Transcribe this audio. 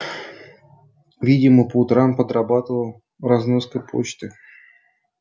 видимо по утрам подрабатывал разноской почты